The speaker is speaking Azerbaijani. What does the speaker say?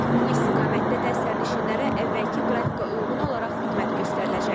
Bu istiqamətdə də sərnişinlərə əvvəlki qrafika uyğun olaraq xidmət göstəriləcək.